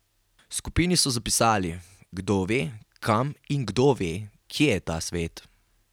V skupini so zapisali: "Kdo ve, kam in kdo ve, kje je ta svet.